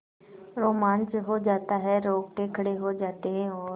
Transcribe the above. रोमांच हो आता है रोंगटे खड़े हो जाते हैं और